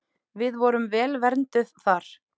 Við vorum vel vernduð þar.